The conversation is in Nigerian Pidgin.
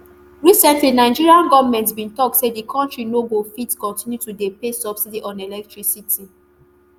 recently nigerian goment bin tok say di kontri no go fit continue to dey pay subsidy on electricity